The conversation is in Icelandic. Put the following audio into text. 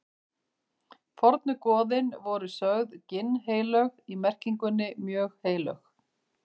Fornu goðin voru sögð ginnheilög í merkingunni mjög heilög.